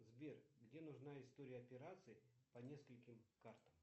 сбер где нужна история операций по нескольким картам